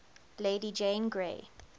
lady jane grey